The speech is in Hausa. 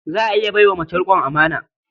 Za a iya bai wa mace riƙon amana.